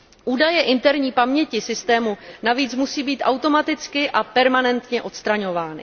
Údaje interní paměti systému navíc musí být automaticky a permanentně odstraňovány.